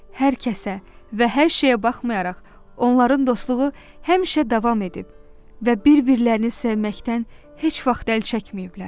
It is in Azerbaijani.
Hər kəsə və hər şeyə baxmayaraq onların dostluğu həmişə davam edib və bir-birlərini sevməkdən heç vaxt əl çəkməyiblər.